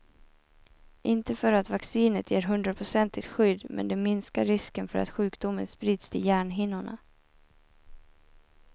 Inte för att vaccinet ger hundraprocentigt skydd, men det minskar risken för att sjukdomen sprids till hjärnhinnorna.